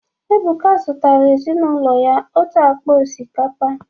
Ebuka zụtara ezinụlọ ya otu akpa osikapa